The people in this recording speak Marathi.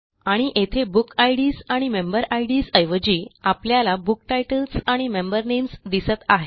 आणि येथे बुकिड्स आणि मेंबेरिड्स ऐवजी आपल्याला बुक टाइटल्स आणि मेंबर नेम्स दिसत आहेत